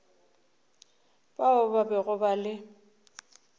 bao ba bego ba le